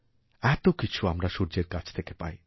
এত কিছু আমরা সূর্যেরকাছ থেকে পাই